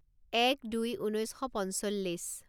এক দুই ঊনৈছ শ পঞ্চল্লিছ